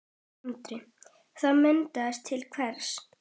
Andri: Það bendir til hvers?